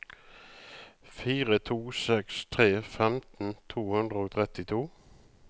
fire to seks tre femten to hundre og trettito